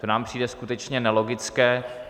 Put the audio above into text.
To nám přijde skutečně nelogické.